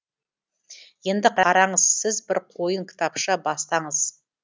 енді қараңыз сіз бір қойын кітапша бастаңыз